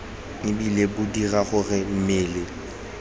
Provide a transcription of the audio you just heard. ebile bo dira gore mmele